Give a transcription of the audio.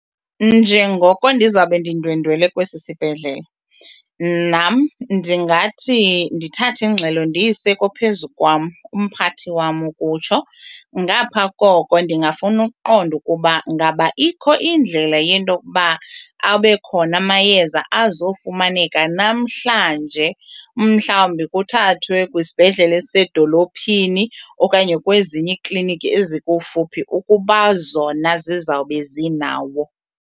Njengoko ndizawube ndindwendwele kwesi sibhedlele nam ndingathi ndithathe ingxelo ndiyise kophezu kwam, umphathi wam ukutsho. Ngaphaa koko ndingafuna ukuqonda ukuba ngaba ikho indlela yento kuba abe khona amayeza azofumaneka namhlanje umhlawumbi kuthathwe kwisibhedlele esisedolophini okanye kwezinye iikliniki ezikufuphi ukuba zona zizawube zinawo.